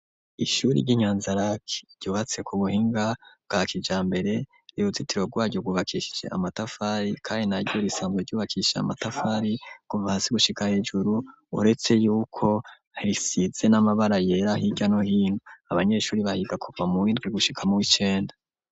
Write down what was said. ishure ryi nyanza Lak ryubatse ku buhinga bwa kijambere n'uruzitiro gwaryo gwubakishije amatafari kandi naryo risanzwe ryubakishije amatafari kuva hasi gushika hejuru uretse yuko risize n'amabara yera hirya no hino abanyeshure bahiga kuva mu windwi gushika mu w'icenda.